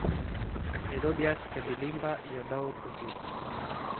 Methodius Kapilimba iyo dhowr wasiir.